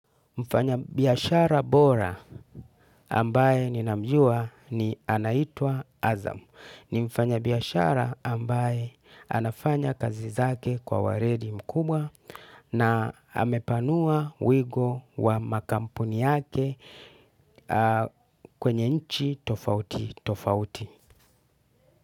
Mfanyabiashara bora ambaye ninamjua ni anaitwa Azamu. Ni mfanyabiashara ambaye anafanya kazi zake kwa weledi mkubwa na amepanua wigo wa makampuni yake kwenye nchi tofauti tofauti.